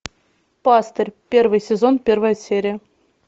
пастырь первый сезон первая серия